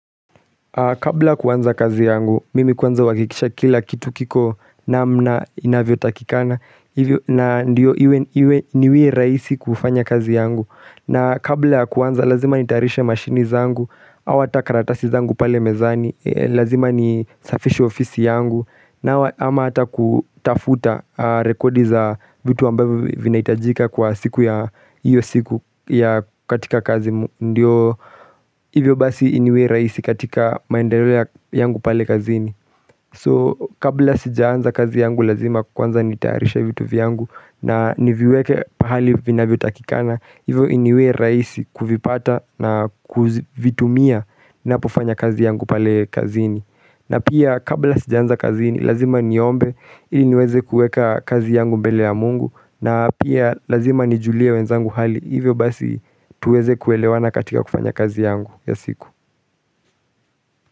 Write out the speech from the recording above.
Kabla kuanza kazi yangu, mimi kuanza huwakikisha kila kitu kiko namna inavyo takikana, na ndiyo iwe niwe raisi kufanya kazi yangu, na kabla kuanza lazima nitarisha mashini zangu, awata karatasi zangu pale mezani, lazima nisafisho ofisi yangu, na ama hata kutafuta rekodi za vitu wambavu vinaitajika kwa siku ya iyo siku ya katika kazi. Ndiyo hivyo basi iniwe raisi katika maendero ya yangu pale kazini So kabla sijaanza kazi yangu lazima kwanza nitaarisha vitu viyangu na niviweke pahali vinavyo takikana Hivyo iniwe raisi kuvipata na kuvitumia napofanya kazi yangu pale kazini na pia kabla sijaanza kazi yangu lazima niombe iniweze kueka kazi yangu mbele ya mungu na pia lazima nijulie wenzangu hali Hivyo basi tuweze kuelewana katika kufanya kazi yangu ya siku.